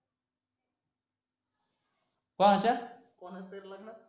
कोणाच्या कोणाच्या तरी लग्नात